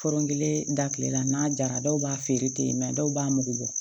Fɔrɔn kelen datilen la n'a jara dɔw b'a feere ten dɔw b'a mugu bɔ